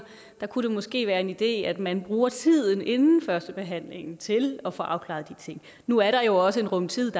der kunne det måske være en idé at man bruger tiden inden førstebehandlingen til at få afklaret de ting nu er der jo også en rum tid